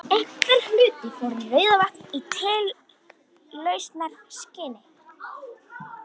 Einhver hluti fór í Rauðavatn í tilraunaskyni.